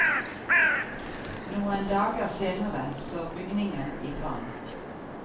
Noen dager senere står bygningen i brann.